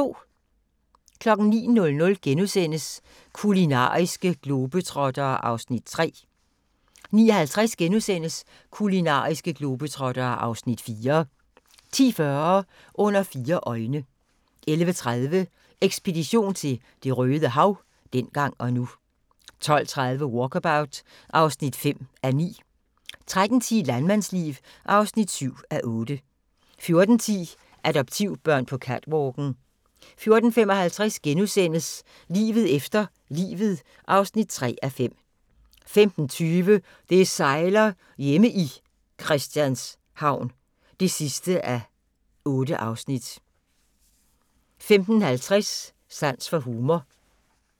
09:00: Kulinariske globetrottere (Afs. 3)* 09:50: Kulinariske globetrottere (Afs. 4)* 10:40: Under fire øjne 11:30: Ekspedition til Det røde Hav – dengang og nu 12:30: Walkabout (5:9) 13:10: Landmandsliv (7:8) 14:10: Adoptivbørn på catwalken 14:55: Livet efter livet (3:5)* 15:20: Det sejler - hjemme i Christianshavn (8:8) 15:50: Sans for humor